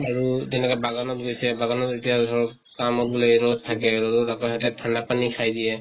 আৰু তেনেকে বাগানত গৈছে, বাগানত এতিয়া ধৰক কামক বুলে ৰʼদ থাকে, ৰʼদত আকৌ সেহেতে ঠান্দা পানী খাই দিয়ে